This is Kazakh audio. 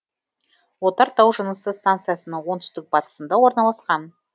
отар тау жынысы станциясының оңтүстік батысында орналасқан